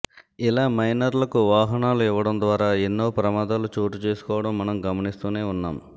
ఇలా మైనర్లకు వాహనాలు ఇవ్వడం ద్వారా ఎన్నో ప్రమాదాలు చోటు చేసుకోవడం మనం గమనిస్తూనే ఉన్నాం